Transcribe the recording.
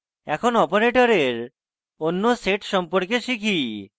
এখন অপারেটরের অন্য set সম্পর্কে শিখি